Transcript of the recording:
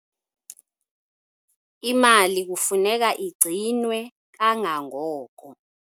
Imali kufuneka igcinwwe kangangoko.